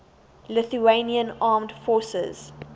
lithuanian armed forces